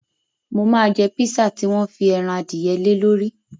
Mo máa jẹ pisa tí wọ́n fi ẹran adìyẹ lé lórí.